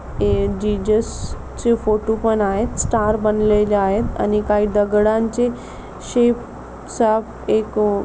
हे जिजस चे फोटो पण आहेत. स्टार बनलेले आहेत आणि काही दगडांचे शेप साप एक --